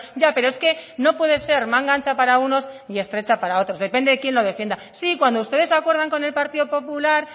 ya pero es que no puede ser manga ancha para unos y estrecha para otros depende de quién lo defienda sí cuando ustedes acuerdan con el partido popular